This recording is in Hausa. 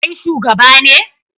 Kai shugaba ne?